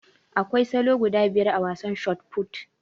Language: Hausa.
Akwai salo guda biyar a wasan shot fut